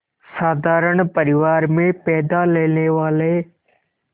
साधारण परिवार में पैदा लेने वाले